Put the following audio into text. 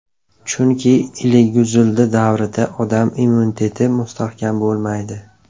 Chunki iliguzildi davrida odam immuniteti mustahkam bo‘lmaydi.